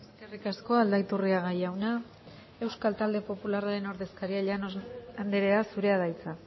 eskerrik asko aldaiturriaga jauna euskal talde popularraren ordezkaria llanos andrea zurea da hitza